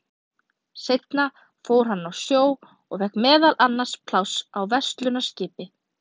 Seinna fór hann á sjó og fékk meðal annars pláss á verslunarskipi.